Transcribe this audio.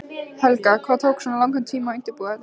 Helga: Hvað tók svona langan tíma að undirbúa þetta?